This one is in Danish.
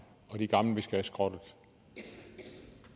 og de gamle vi skal skrotte